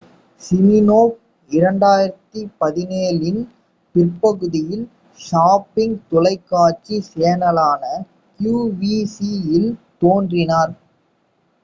Smirnoff 2017 இன் பிற்பகுதியில் shopping தொலைக்காட்சி சேனலான qvc இல் தோன்றினார்